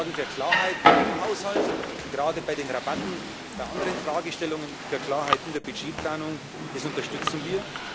Sie sorgen für Klarheit im Haushalt gerade bei den Rabatten, bei anderen Fragestellungen für Klarheit in der Budgetplanung das unterstützen wir.